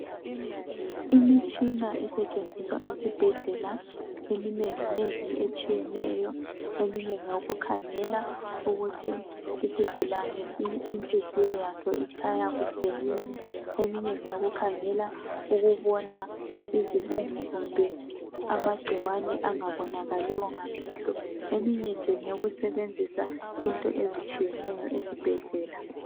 Imitshina esetshenziswa esibhedlela eminengi nengi etshiyeneyo eminye ngeyo kukhangela ukuthi isigulane inhliziyo yaso itshaya kuhle yini, eminye ngeyoku khangela ukubona izungu kumbe amagcikwane angabonakaliyo ngamehlo. Eminye nje ngeyo kusebenzisa into ezitshiyeneyo esibhedlela.